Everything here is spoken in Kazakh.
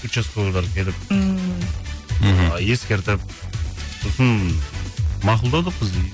участковыйлар келіп ммм мхм ы ескертіп сосын мақұлдадық біз де